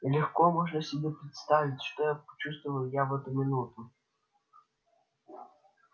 легко можно себе представить что я чувствовал я в эту минуту